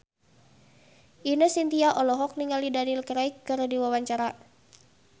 Ine Shintya olohok ningali Daniel Craig keur diwawancara